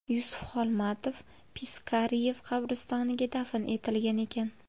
Yusuf Xolmatov Piskaryev qabristoniga dafn etilgan ekan.